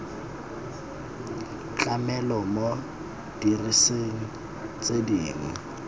tlamelo mo diserising tse dingwe